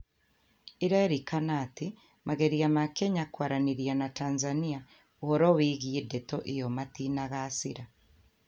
Ĩrerĩkana atĩ mageria ma Kenya kwaranĩria na Tanzania ũhoro wĩgie ndeto iyo matinagacĩra